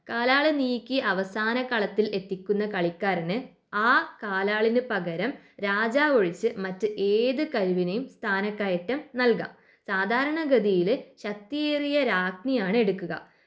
കാലാള് നീക്കി അവസാന കളത്തിൽ എത്തിക്കുന്ന കളിക്കാരന് ആ കാലാളിന് പകരം രാജാവ് ഒഴിച്ച് മറ്റ് ഏത് കരുവിനെയും സ്ഥാനക്കയറ്റം നൽകാം. സാധാരണഗതിയില് ശക്തിയേറിയ രാജ്ഞിയാണ് എടുക്കുക.